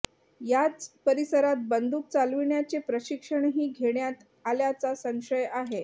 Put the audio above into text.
याच परिसरात बंदूक चालविण्याचे प्रशिक्षणही घेण्यात आल्याचा संशय आहे